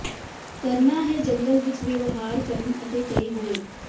ਕਰਨਾ ਹੈ ਜੰਗਲ ਵਿੱਚ ਵਿਵਹਾਰ ਕਰਨ ਅਤੇ ਕਈ ਹੋਰ